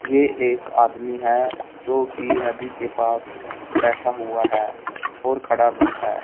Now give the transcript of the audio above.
ये एक आदमी हैं जो कि नदी के पास बैठा हुआ हैं और खड़ा भी हैं।